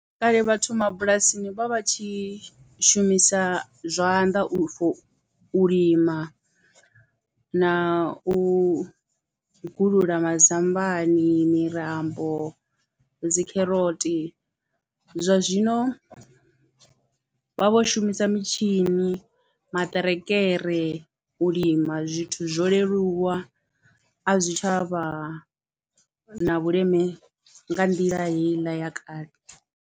Kale vhathu mabulasini vha vha tshi shumisa zwanḓa for u lima na u gulula mazambani, mirambo, dzikheroti zwa zwino vha vho shumisa mitshini, maṱerekere u lima zwithu zwo leluwa a zwi tsha vha na vhuleme nga nḓila heiḽa ya kale.